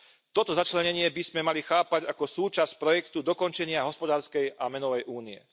Toto začlenenie by sme mali chápať ako súčasť projektu dokončenia hospodárskej a menovej únie.